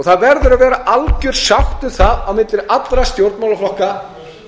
það verður að vera algjör sátt um það milli allra stjórnmálaflokka